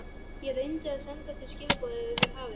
Ég reyndi að senda þér skilaboð yfir hafið.